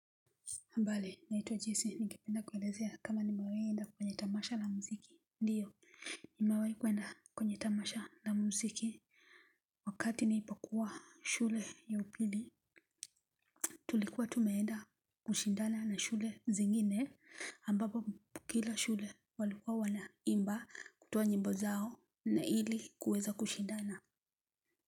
Habari, naitwa Jesse, ningependa kuelezea kama nimewai enda kwenye tamasha la mziki. Ndio, nimawai kuenda kwenye tamasha la mziki wakati niipokuwa shule ya upili. Tulikuwa tumeenda kushindana na shule zingine. Ambapo kila shule walikuwa wanaimba kutoa nyimbo zao na ili kuweza kushindana.